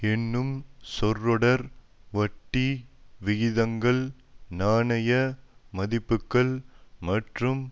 என்னும் சொற்றொடர் வட்டி விகிதங்கள் நாணய மதிப்புக்கள் மற்றும்